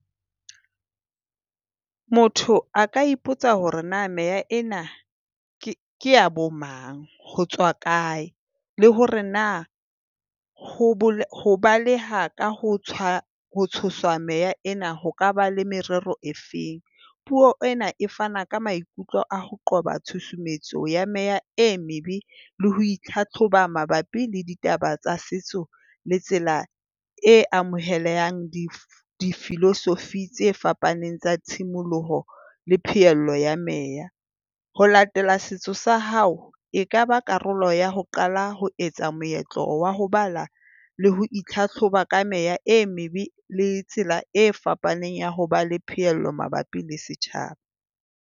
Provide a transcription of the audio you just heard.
Motho a ka ipotsa hore na mehla ena kea bo mang, ho tswa kae le hore na ho baleha ka ho tswa ho tshoswa mehla ena Ho kaba le merero e feng? Puo ena e fana ka maikutlo a ho qoba tshusumetso ya meea e maybe le ho hlahloba mabapi le ditaba tsa setso le tsela e amohelehang. Philosophy tse fapaneng tsa tshimoloho le phehello ya mare ho latela setso sa hao e ka ba karolo ya ho qala, ho etsa meetlo wa ho bala le ho hlahloba ka mehla, e maybe le tsela e fapaneng ya ho ba le phehello mabapi le setjhaba